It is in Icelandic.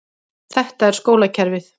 Þetta er skólakerfið.